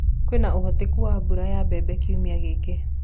kwĩnaũhotekekũ wa mbũra ya mbembe kĩumia giki